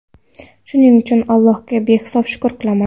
Shuning uchun Allohga behisob shukr qilaman.